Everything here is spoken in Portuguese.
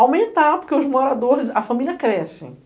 Aumentar, porque os moradores, a família cresce.